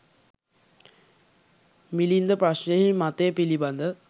මිලින්ද ප්‍රශ්නයෙහි මතය පිළිබඳ